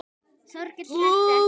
Þórkell þekkti ekki.